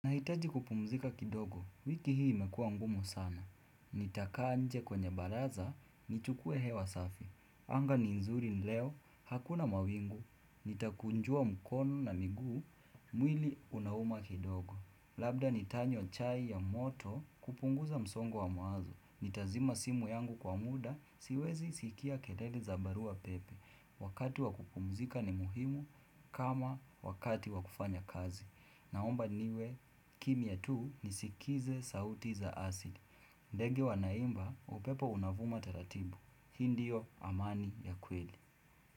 Nahitaji kupumzika kidogo, wiki hii imekua ngumu sana. Nitakaa nje kwenye balaza, nichukue hewa safi. Anga ni nzuri leo, hakuna mawingu, nitakunjua mkono na miguu, mwili unauma kidogo. Labda nitanywa chai ya moto kupunguza msongo wa mawazo. Nitazima simu yangu kwa muda, siwezi sikia kerere za barua pepe. Wakati wakupumzika ni muhimu kama wakati wakufanya kazi. Naomba niwe kimia tu nisikize sauti za asli ndege wanaimba upepo unavuma taratibu. Hindiyo amani ya kweli.